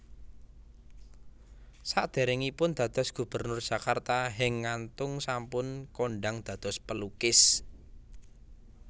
Sadèrèngipun dados Gubernur Jakarta Henk Ngantung sampun kondhang dados pelukis